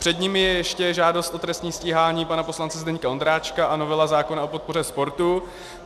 Před nimi je ještě žádost o trestní stíhání pana poslance Zdeňka Ondráčka a novela zákona o podpoře sportu.